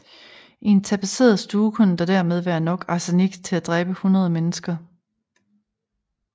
I en tapetseret stue kunne der dermed være nok arsenik til at dræbe hundrede mennesker